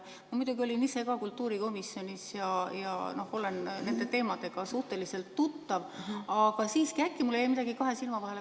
Ma muidugi olin ise ka kultuurikomisjonis ja olen nende teemadega suhteliselt tuttav, aga siiski, äkki mul jäi midagi kahe silma vahele.